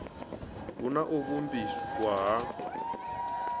hu na u vhumbiwa ha